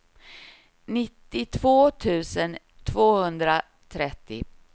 nittiotvå tusen tvåhundratrettio